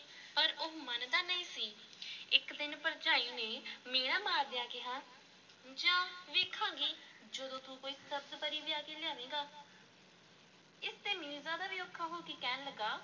ਪਰ ਉਹ ਮੰਨਦਾ ਨਹੀਂ ਸੀ ਇੱਕ ਦਿਨ ਭਰਜਾਈ ਨੇ ਮਿਹਣਾ ਮਾਰਦਿਆਂ ਕਿਹਾ, ਜਾਹ ਵੇਖਾਂਗੇ, ਜਦੋਂ ਤੂੰ ਕੋਈ ਸਬਜ਼-ਪਰੀ ਵਿਆਹ ਕੇ ਲਿਆਵੇਂਗਾ ਇਸ ਤੇ ਮੀਰਜ਼ਾਦਾ ਵੀ ਔਖਾ ਹੋ ਕੇ ਕਹਿਣ ਲੱਗਾ,